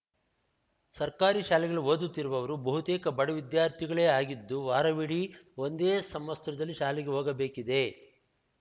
ಸರ್ಕಾರಿ ಶಾಲೆಗಳಲ್ಲಿ ಓದುತ್ತಿರುವವರು ಬಹುತೇಕ ಬಡ ವಿದ್ಯಾರ್ಥಿಗಳೇ ಆಗಿದ್ದು ವಾರವಿಡಿ ಒಂದೇ ಸಮವಸ್ತ್ರದಲ್ಲಿ ಶಾಲೆಗೆ ಹೋಗಬೇಕಿದೆ